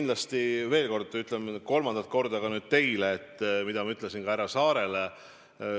Ma veel kord ütlen, nüüd juba kolmandat korda – ütlen ka teile seda, mida ma ütlesin juba härra Saarele.